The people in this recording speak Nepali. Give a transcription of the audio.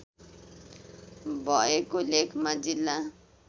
भएको लेखमा जिल्ला